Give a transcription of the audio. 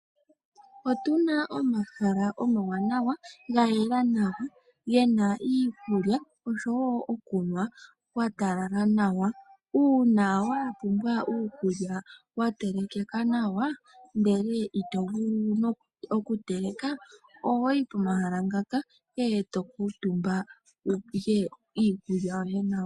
Otu na omahala omawanawa, ga yela nawa, ge na iikulya oshowo okunwa kwa talala nawa. Uuna wa pumbwa uukulya watelekeka nawa ndele ito vulu oku teleka ohoyi pomahala ngaka eto kuutumba wulye iikulya yoye nawa.